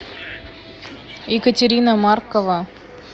екатерина маркова